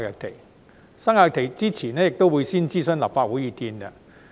決定生效日期前亦會先諮詢立法會意見。